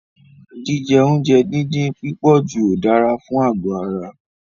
Jíjẹ oúnjẹ díndín pípọ̀jù ò dára fún àgọ̀ ara.